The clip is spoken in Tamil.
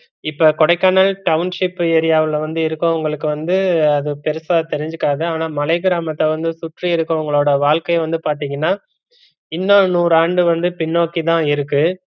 இப்ப கொடைக்கானல் township area வுல வந்து இருகொவுங்களுக்கு அது பெருசா தெரிஞ்சுக்காது ஆனா மலை கிரமத்த வந்து சுற்றி இருக்கறவுங்களோட வாழ்க்கை வந்து பாத்தீங்கன்னா இன்னோ நூறு ஆண்டு வந்து பின்னோக்கிதா இருக்கு